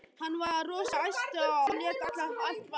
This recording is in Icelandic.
Hann var rosa æstur og lét allt vaða.